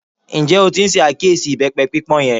Ǹjẹ́ o tí n ṣàkíyèsí ìbẹ́pẹ pípọ́n yẹn?